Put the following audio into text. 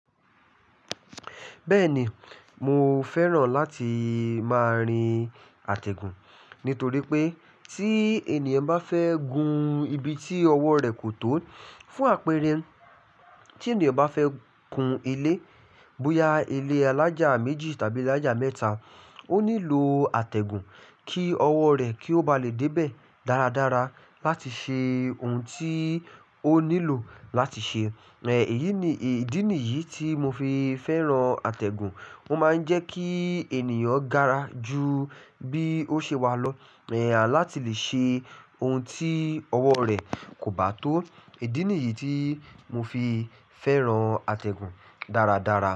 Bẹ́ẹ̀ni, mo fẹ́ràn láti máa rin àtẹ̀gùn nítorí pé tíi ènìyàn bá fẹ́ gun ibi tí ọwọ́ rẹ̀ kò tó fún àpẹẹrẹ tí ènìyàn bá fẹ́ kun ilé, bóyá ilé alájà méjì tàbí alájà mẹ́ta, ó nílò àtẹ̀gùn kí ọwọ́ rẹ̀ kí ó ba lè dé bẹ̀ dáradára láti ṣe ohun tí ó nílò láti ṣe. Ìdí nìyí tí mo fi fẹ́ràn àtẹ̀gùn. Ó máa ń jẹ́ kíi ènìyàn gara ju bí ó ṣe wà lọ, láti lè ṣe ohun tí ọwọ́ rẹ̀ kò bá tó. Ìdí nìyí tí mo fi fẹ́ràn àtẹ̀gùn dáradára.